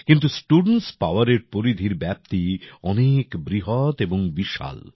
কিন্ত স্টুডেন্টস পাওয়ারের পরিধির ব্যাপ্তি অনেক বৃহৎ এবং বিশাল